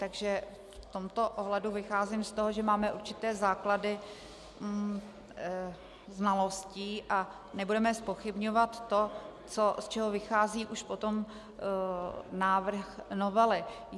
Takže v tomto ohledu vycházím z toho, že máme určité základy znalostí a nebudeme zpochybňovat to, z čeho vychází už potom návrh novely.